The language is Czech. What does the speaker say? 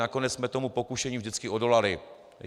Nakonec jsme tomu pokušení vždycky odolali.